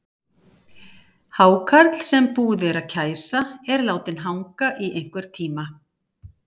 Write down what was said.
Hákarl sem búið er að kæsa er látinn hanga í einhvern tíma.